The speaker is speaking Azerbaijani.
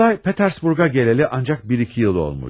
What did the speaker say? Nikolay Petersburg'a geleli ancak bir-iki yıl olmuş.